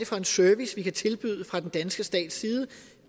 for en service vi kan tilbyde fra den danske stats side